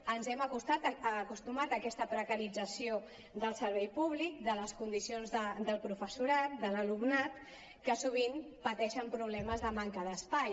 ens hem acostumat a aquesta precarització del servei públic de les condicions del professorat de l’alumnat que sovint pateixen problemes de manca d’espai